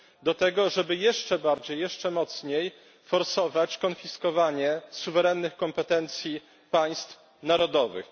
do tego, żeby jeszcze bardziej, jeszcze mocniej, forsować konfiskowanie suwerennych kompetencji państw narodowych.